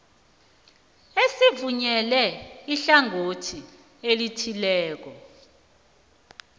esivunyelwe ihlangothi elithileko